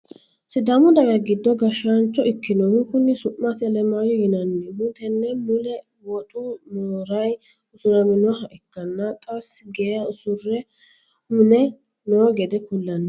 Sidaamu daga giddo gashshaancho ikkinohu kuni su'masi Alemayo yinayihu tenne mule woxu moorayi usuraminoha ikkanna xas geya usuru mine noo gede kullanni.